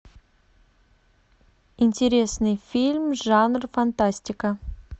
интересный фильм жанр фантастика